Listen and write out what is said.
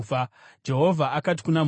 Jehovha akati kuna Mozisi,